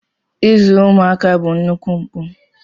Izu ụmụaka bụ nnukwu mpụ.